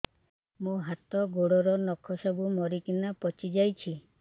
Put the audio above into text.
ମୋ ହାତ ଗୋଡର ନଖ ସବୁ ମରିକିନା ପଚି ଯାଉଛି